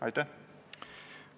Aitäh!